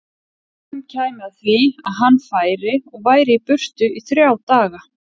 Bráðum kæmi að því að hann færi og væri í burtu í þrjá daga.